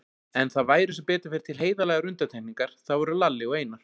En það væru sem betur fer til heiðarlegar undantekningar, það voru Lalli og Einar.